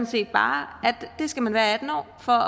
set bare at det skal man være atten år for